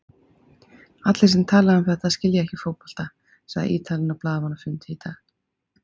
Allir sem tala um þetta skilja ekki fótbolta, sagði Ítalinn á blaðamannafundi í dag.